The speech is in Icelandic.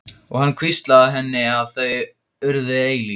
Og hann hvíslaði að henni að þau yrðu eilíf.